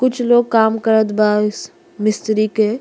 कुछ लोग काम करत बा इस मिस्त्री के।